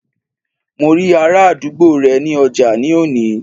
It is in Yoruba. Mo rí ará àdúgbò rẹ ní ọjà ní òní